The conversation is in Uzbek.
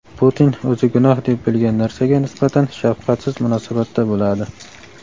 Putin o‘zi gunoh deb bilgan narsaga nisbatan shafqatsiz munosabatda bo‘ladi.